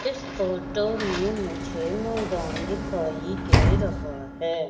इस फोटो में मुझे मैदान दिखाई दे रहा है।